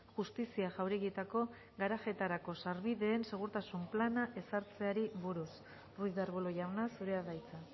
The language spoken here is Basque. justizia jauregietako garajeetarako sarbideen segurtasun plana ezartzeari buruz ruiz de arbulo jauna zurea da hitza